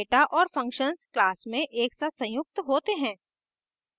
data और functions class में एक साथ संयुक्त होते हैं